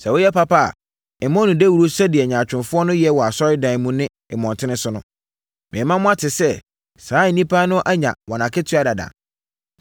“Sɛ woyɛ papa a, mmɔ no dawuro sɛdeɛ nyaatwomfoɔ yɛ wɔ asɔredan mu ne mmɔntene so no. Merema mo ate sɛ, saa nnipa no anya wɔn akatua dada.